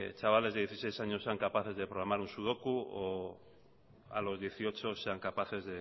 chavales de dieciséis años sean capaces de programar un sudoku o a los dieciocho sean capaces